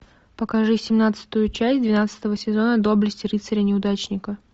покажи семнадцатую часть двенадцатого сезона доблести рыцаря неудачника